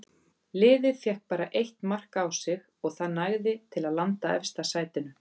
Liðið fékk bara eitt mark á sig og það nægði til að landa efsta sætinu.